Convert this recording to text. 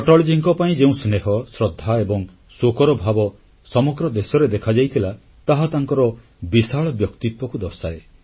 ଅଟଳଜୀଙ୍କ ପାଇଁ ଯେଉଁ ସ୍ନେହ ଶ୍ରଦ୍ଧା ଏବଂ ଶୋକର ଭାବ ସମଗ୍ର ଦେଶରେ ଦେଖାଯାଇଥିଲା ତାହା ତାଙ୍କର ବିଶାଳ ବ୍ୟକ୍ତିତ୍ୱକୁ ଦର୍ଶାଏ